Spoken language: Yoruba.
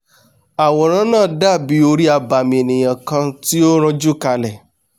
àwòrán náà dàbí orí abàmì ènìà kan tí ó ranjú kalẹ̀